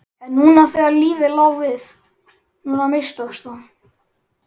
En núna þegar lífið lá við, núna mistókst það!